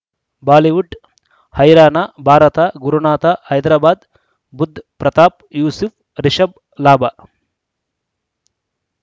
Bollywood ಹೈರಾಣ ಭಾರತ ಗುರುನಾಥ ಹೈದರಾಬಾದ್ ಬುಧ್ ಪ್ರತಾಪ್ ಯೂಸುಫ್ ರಿಷಬ್ ಲಾಭ